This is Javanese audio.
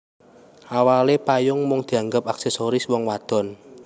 Awalé payung mung dianggep aksesoris wong wadon